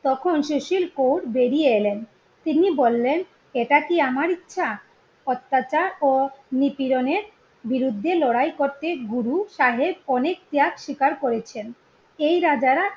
তখন সুশীল কোর বেরিয়ে এলেন। তিনি বললেন এটা কি আমার ইচ্ছা অত্যাচার ও নিপীড়ণের বিরুদ্ধে লড়াই করতে গুরুসাহেব ত্যাগ শিকার করেছেন। এই রাজারা